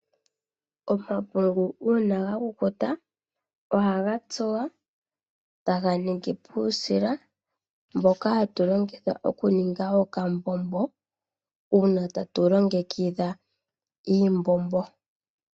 Omapungu uuna gakukuta ohaga tsuwa taga ningi uusila mboka hatu longitha okuninga okambombo uuna tatu longekidha iimbombo.